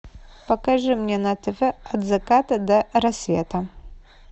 покажи мне на тв от заката до рассвета